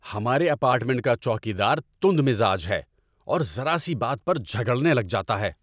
ہمارے اپارٹمنٹ کا چوکیدار تند مزاج ہے اور ذرا سی بات پر جھگڑنے لگ جاتا ہے